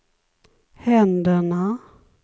händerna